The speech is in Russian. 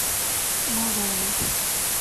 малову